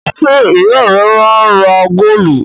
Ṣé ìyá rẹ máa ń ra góólù?